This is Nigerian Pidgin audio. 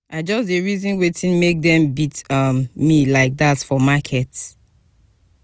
i just dey reason wetin make dem beat um me like dat for market.